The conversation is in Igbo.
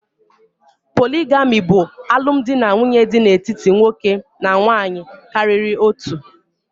Poligami bụ alụmdinanwuye dị n'etiti nwoke na nwunye karịrị otu.